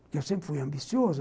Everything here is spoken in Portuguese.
Porque eu sempre fui ambicioso.